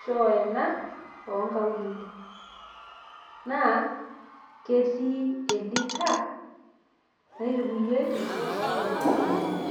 choo ena ongaulele naa ketii elita natukuyieki inkaik.